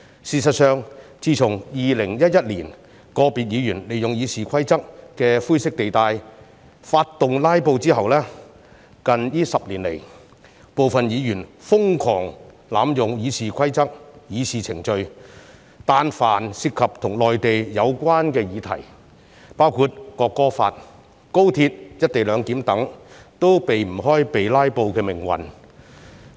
事實上，自從2011年，個別議員利用《議事規則》的灰色地帶發動"拉布"之後，近10年來，部分議員瘋狂濫用《議事規則》的議事程序，但凡涉及跟內地有關的議題，包括《國歌法》、高鐵"一地兩檢"等也無法避開被"拉布"的命運。